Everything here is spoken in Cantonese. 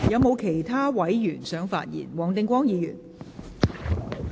是否有其他委員想發言？